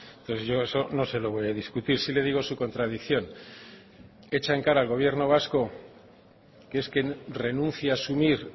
entonces yo eso no se lo voy a discutir sí le digo su contradicción echa en cara al gobierno vasco que es que renuncia asumir